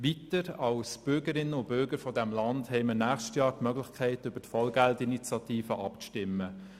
Weiter haben wir als Bürgerinnen und Bürger dieses Landes nächstes Jahr die Gelegenheit, über die Vollgeld-Initiative abzustimmen.